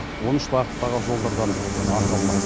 он үш бағыттағы жолдардан ақы алмақ